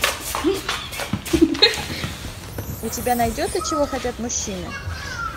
у тебя найдется чего хотят мужчины